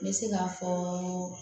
N bɛ se k'a fɔ